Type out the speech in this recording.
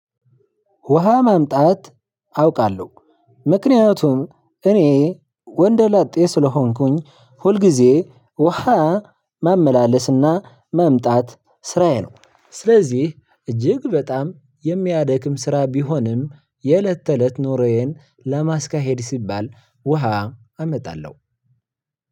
ውሃ ማምጣት አውቃለሁ ምክንያቱም እኔ ወንደ ላጤ ስለሆንኩኝ ሁልጊዜ ውሃ ማመላለስና ማምጣት ስራዬ ነው። ስለዚህ እጅግ በጣም የሚያደክም ስራ ቢሆንም የእለት ተእለት ኖሮዬን ለማስካሄድ ሲባል ውሃ አመጣለሁ።